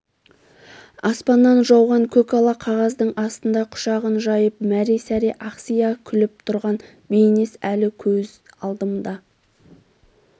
аспаннан жауған көкала қағаздың астында құшағын жайып мәре-сәре ақсия күліп тұрған бейнес әлі көз алдымда